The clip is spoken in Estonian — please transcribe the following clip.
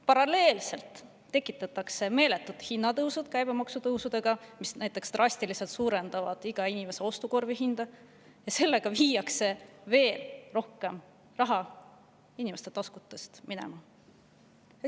Paralleelselt tekitatakse meeletud hinnatõusud käibemaksutõusudega, mis drastiliselt suurendavad iga inimese ostukorvi, ja sellega viiakse veel rohkem raha inimeste taskutest ära.